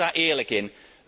Wees daar eerlijk